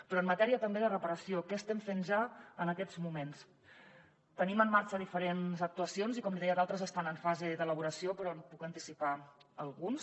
però en matèria també de reparació què estem fent ja en aquests moments tenim en marxa diferents actuacions i com li deia d’altres estan en fase d’elaboració però en puc anticipar algunes